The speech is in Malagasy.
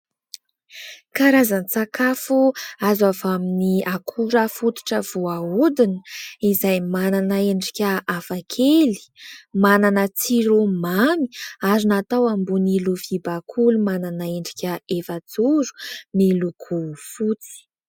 Karazan-tsakafo azo avy amin'ny akora fototra voahodina izay manana endrika hafakely, manana tsiro mamy ary natao ambony lovia bakoly manana endrika efajoro miloko fotsy.